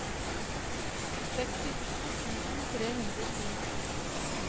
sekstito tusen tre hundre og ti